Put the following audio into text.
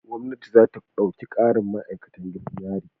Gwamnati za ta ɗauki ƙarin ma'akatan gidan yari.